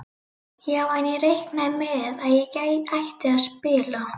Já en. ég reiknaði með að ég ætti að spila!